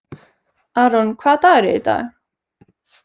Aaron, hvaða dagur er í dag?